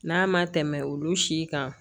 N'a ma tɛmɛ olu si kan